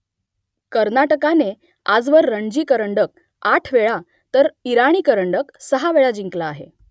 कर्नाटकाने आजवर रणजी करंडक आठ वेळा तर इराणी करंडक सहा वेळा जिंकला आहे